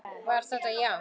Var þetta já?